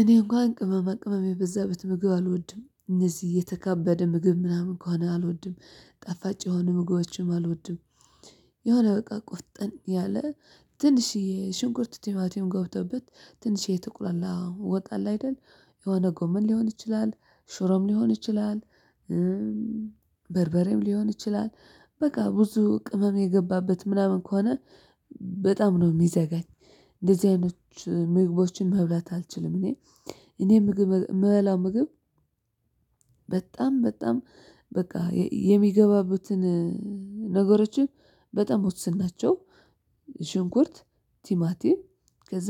እኔ እንኳን ቅመማ ቅመመጅም የበዛበት ምግብ አልወድም እነዚህ የተካበደ ምግብ ምናምን ከሆነ አልወድም ጣፋጭ የሆኑ ምግቦችንም አልወድም። የሆነ በቃ ቁጥን ያለ። ትንሽዬ ሽንኩርት ቲማቲም ገብቶበት ትንሽዬ የተቁላላ ወጥ አለ አይደል። የሆነ ጎመን ሊሆን ይችላል ሽሮም ሊሆን ይችላል። በርበሬም ሊሆን ይችላል። በቃ ብዙ ቅመም የገባበት ምናምን ከሆነ በጣም ነው የሚዘጋኝ። እንደዚህ አይነት ምግቦችን መብላት አልችልም እኔ። እኔ ምግብ ምበላው ምግብ በጣም በጣም በቃ የሚገባበትን ነገሮችን በጣም ውስን ናቸው። ሽንኩርት ቲማቲም ከዛ